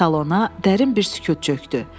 Salona dərin bir sükut çökdü.